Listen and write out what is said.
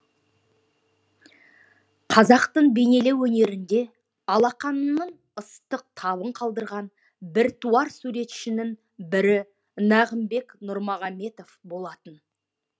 қазақтың бейнелеу өнерінде алақанының ыстық табын қалдырған біртуар суретшінің бірі нағымбек нұрмұхаммедов болатын